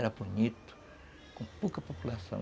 Era bonito, com pouca população.